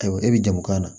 Ayiwa e bɛ jamu k'a la